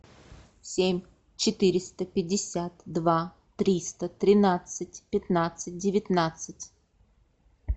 семь четыреста пятьдесят два триста тринадцать пятнадцать девятнадцать